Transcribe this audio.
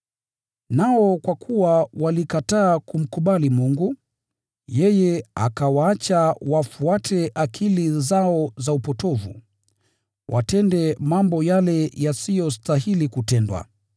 Nao kwa kuwa hawakuona umuhimu wa kudumisha ufahamu wa Mungu, yeye akawaachilia wafuate akili za upotovu, watende mambo yale yasiyostahili kutendwa.